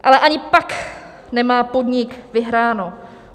Ale ani pak nemá podnik vyhráno.